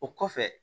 O kɔfɛ